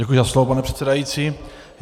Děkuji za slovo, pane předsedající.